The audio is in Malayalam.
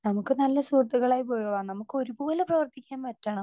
സ്പീക്കർ 2 നമുക്ക് നല്ല സുഹൃത്തുക്കളായാൽ പോരല്ലോ? നമുക്ക് ഒരുപോലെ പ്രവർത്തിക്കാൻ പറ്റണം.